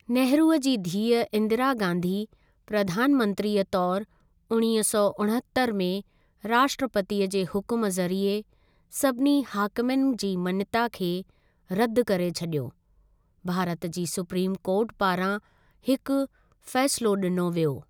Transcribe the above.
नेहरूअ जी धीअ इंदिरा गांधी, प्रधान मंत्रीअ तौर उणिवींह सौ उणहतरि में राष्ट्रपतिअ जे हुकुम ज़रिए सभिनी हाकिमनि जी मञता खे रद्द करे छॾियो, भारत जी सुप्रीम कोर्ट पारां हिक फ़ैसिलो ॾिनो वियो।